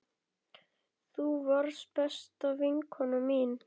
Þú varst besta vinkona mín.